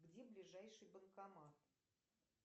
где ближайший банкомат